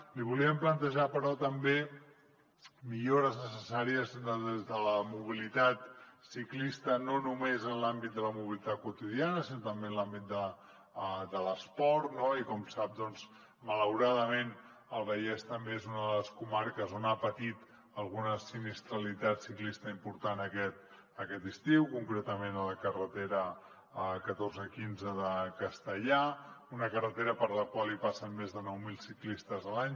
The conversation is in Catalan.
li volíem plantejar però també millores necessàries des de la mobilitat ciclista no només en l’àmbit de la mobilitat quotidiana sinó també en l’àmbit de l’esport no i com sap doncs malauradament el vallès també és una de les comarques que ha patit alguna sinistralitat ciclista important aquest estiu concretament a la carretera catorze deu cinc de castellar una carretera per la qual hi passen més de nou mil ciclistes l’any